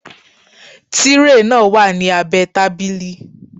Tírè náà wà ní abẹ́ẹ tábìlì